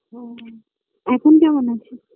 ও এখন কেমন আছে